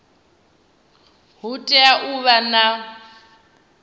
hu tea u vha na